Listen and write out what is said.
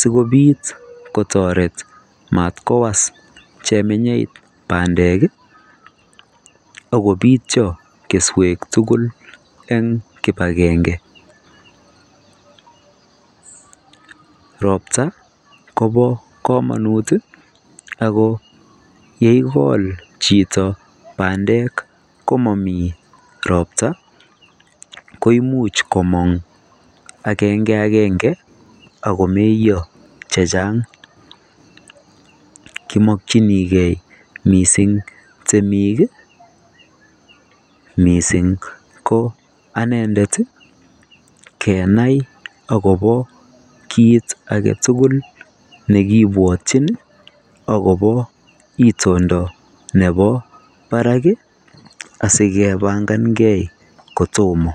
sigopit kotoret matkowas cheminei bandek akopityo keswek tugul en kibagengei ropta Kobo komonut kogole komomi ropta ko imuch komong agenge ange agoiyo kimokchinigei mising temik mising ko anendet kenai akopo kit agotugul akopo itondo park sigepangan gei kotomo